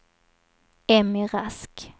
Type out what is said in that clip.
Emmy Rask